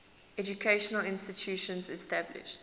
educational institutions established